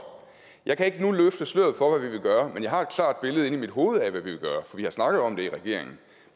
jeg kan ikke nu løfte sløret for hvad vi vil gøre men jeg har et klart billede inde i mit hoved af hvad vi vil gøre for vi har snakket om det i regeringen